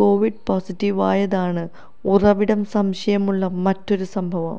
Covid പോസിറ്റീവായതാണ് ഉറവിടം സംശയമുള്ള മറ്റൊരു സംഭവം